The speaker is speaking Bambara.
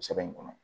Sɛbɛn in kɔnɔ